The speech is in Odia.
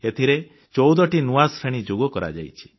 ଏଥିରେ 14ଟି ନୂଆ ଶ୍ରେଣୀ ଯୋଗ କରାଯାଇଛି